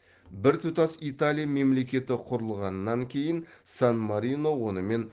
біртұтас италия мемлекеті құрылғаннан кейін сан марино онымен